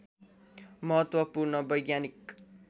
महत्त्वपूर्ण वैज्ञानिक